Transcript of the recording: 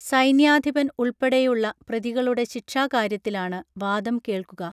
സൈന്യാധിപൻ ഉൾപ്പെടെയുള്ള പ്രതികളുടെ ശിക്ഷാ കാര്യത്തിലാണ് വാദം കേൾക്കുക